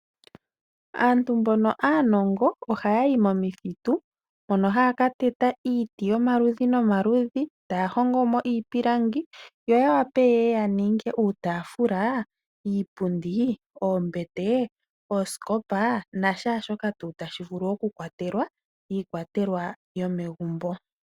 Aantu mboka aanongo ohaya yi momithitu mono haya ka teta iiti yomaludhi nomaludhi taya hongo iipundi niitafula